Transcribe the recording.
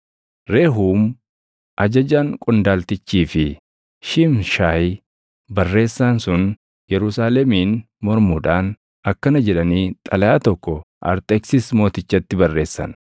Rehuum ajajaan qondaaltichii fi Shiimshaayi barreessaan sun Yerusaalemiin mormuudhaan akkana jedhanii xalayaa tokko Arxeksis mootichatti barreessan: